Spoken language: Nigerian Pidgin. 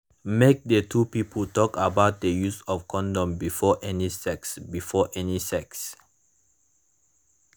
make the two people talk about the use of condom before any sex before any sex